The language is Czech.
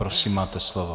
Prosím, máte slovo.